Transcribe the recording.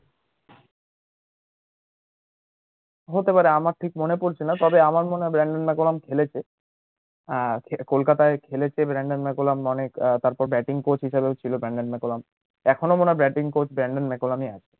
হতে পারে আমার ঠিক মনে পড়ছে না তবে মারুফ মনে হয় ব্রানডম মাকুলাম খেলেছে আর কলকতায় খেলেছে ব্রানডম মাকুলাম তারপর batting coach হিসেবে ও ছিল ব্রানডম মাকুলাম এখনো মনে হয় batting coach ব্রানডম মাকুলাম ই আছে